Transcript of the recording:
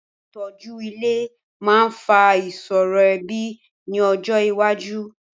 Àìtọ́jú ilé máa fa ìṣòro ẹbí ní ọjọ iwájú.